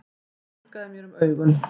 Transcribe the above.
Ég þurrkaði mér um augun.